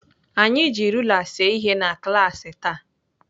Anyị ji rula see ihe na klaasị taa.